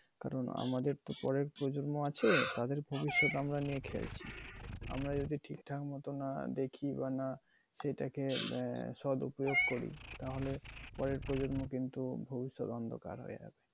কারণ আমাদের তো পরের প্রজন্ম আছে তাদের ভবিতসথ আমরা নিয়ে খেলছি। আমরা যদি ঠিকঠাক মতো আহ দেখি বা না সেটা কে আহ সদউপিয়োগ করি তাহলে পরের প্রজন্ম কিন্তু ভবিষৎ অন্ধকার হয়ে আসবে।